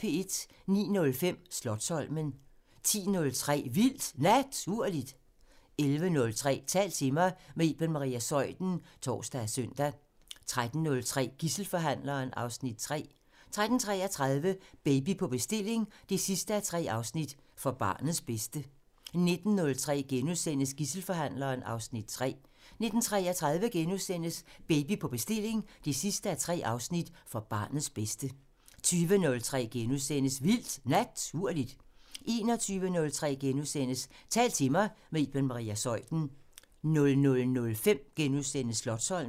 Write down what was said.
09:05: Slotsholmen 10:03: Vildt Naturligt 11:03: Tal til mig – med Iben Maria Zeuthen (tor og søn) 13:03: Gidselforhandleren (Afs. 3) 13:33: Baby på bestilling 3:3: For barnets bedste 19:03: Gidselforhandleren (Afs. 3)* 19:33: Baby på bestilling 3:3: For barnets bedste * 20:03: Vildt Naturligt * 21:03: Tal til mig – med Iben Maria Zeuthen * 00:05: Slotsholmen *